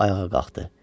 O ayağa qalxdı.